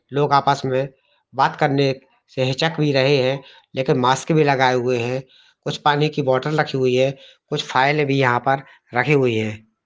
लोग आपस मै बात करने से हिचक भी रहे है लेकिन मास्क भी लगाए हुए है कुछ पानी की बॉटल रखी हुई है कुछ फाइल भी यहां पर रखी हुई है ।